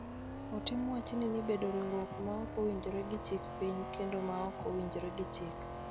Otim wachni ni bedo riwruok ma ok owinjore gi chik piny kendo ma ok owinjore gi chik,